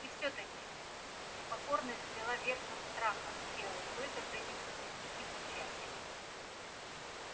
и всё-таки покорность взяла верх над страхом и белый клык ограничился тихим рычанием